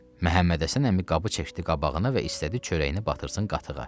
Məhəmməd Həsən əmi qabı çəkdi qabağına və istədi çörəyini batırsın qatığa.